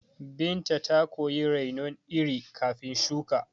Binta ta koyi rainon iri kafin shuka